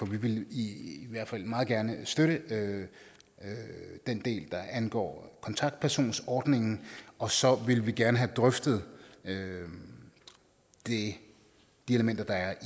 vi vil i hvert fald meget gerne støtte den del der angår kontaktpersonsordningen og så vil vi gerne have drøftet de elementer der